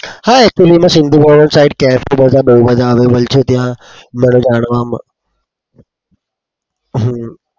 હા actually માં